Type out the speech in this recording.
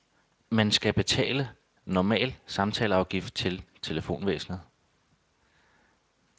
Man skal betale normal samtaleafgift til telefonvæsenet.